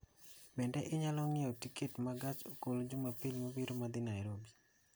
Bende inyalo ng'iewona tiket ma gach okolo jumapil mabiro ma dhi Nairobi